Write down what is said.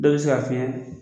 Dɔw be se k'a f'i ɲɛ